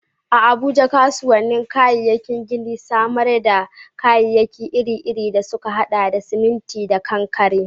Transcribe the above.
A Abuja, kasuwannin kayayyakin gini na samar da kayayyaki iri-iri da suka haɗa da siminti da kankare.